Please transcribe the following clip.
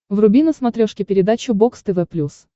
вруби на смотрешке передачу бокс тв плюс